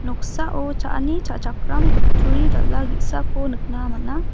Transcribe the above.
noksao cha·ani cha·chakram kutturi dal·a ge·sako nikna man·a.